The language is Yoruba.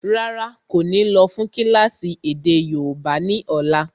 Rárá, kò ní lọ́ fún kílásì èdè yóòbá ni ọ̀la.